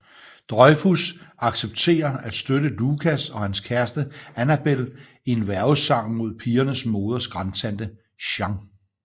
Dreyfuss accepterer at støtte Lucas og hans kæreste Annabel i en værgesag mod pigernes moders grandtante Jean